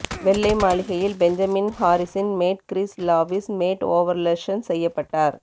வெள்ளை மாளிகையில் Benjamin Harrison மேட் கிறிஸ் லாவிஷ் மேட் ஓவர்லொக்ஷன் செய்யப்பட்டார்